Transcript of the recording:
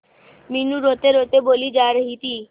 मीनू रोतेरोते बोली जा रही थी